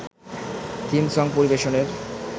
theme song পরিবেশনের